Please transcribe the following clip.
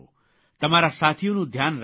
તમારા સાથીઓનું ધ્યાન રાખજો